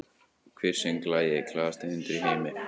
Hver söng lagið “Glaðasti hundur í heimi”?